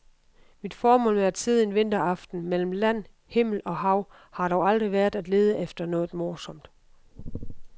Mit formål med at sidde en vinteraften mellem land, himmel og hav har dog aldrig været at lede efter noget morsomt.